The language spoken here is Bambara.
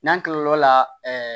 N'an kilal'o la ɛɛ